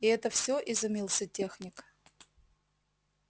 и это все изумился техник